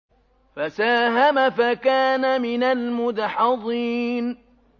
فَسَاهَمَ فَكَانَ مِنَ الْمُدْحَضِينَ